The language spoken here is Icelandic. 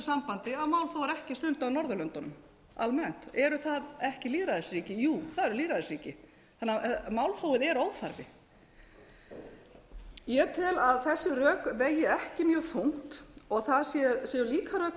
sambandi að málþóf er ekki stundað á norðurlöndunum almennt eru það ekki lýðræðisríki jú það eru lýðræðisríki þannig að málþófið er óþarfi ég tel að þessi rök vegi ekki mjög þungt og það séu líka rök